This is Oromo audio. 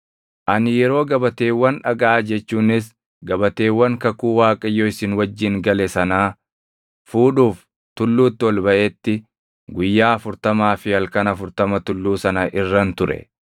Ani yeroo gabateewwan dhagaa jechuunis gabateewwan kakuu Waaqayyo isin wajjin gale sanaa fuudhuuf tulluutti ol baʼetti guyyaa afurtamaa fi halkan afurtama tulluu sana irran ture; ani buddeena tokko illee hin nyaanne; bishaan illee hin dhugne.